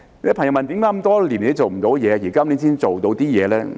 有些朋友問為甚麼這麼多年都做不到，到今年才稍為做到一點工作呢？